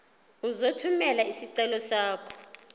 uzothumela isicelo sakho